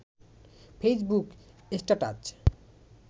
Facebook status